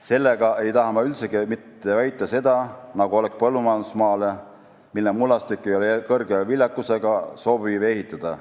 Sellega ei taha ma üldsegi mitte väita seda, nagu oleks põllumajandusmaale, mille mullastik ei ole kõrge viljakusega, sobiv ehitada.